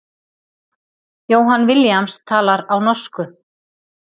Johan Williams talar á norsku.